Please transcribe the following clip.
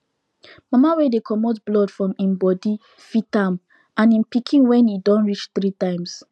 mama wey dey comot blood from him body fit am and him pikin when e don reach three times